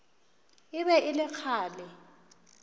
e be e le kgale